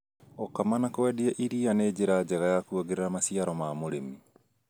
Gukama na kwendia iria nĩ njĩra njega ya kuongerera maciaro ma mũrĩmi